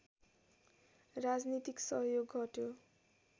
राजनीतिक सहयोग हट्यो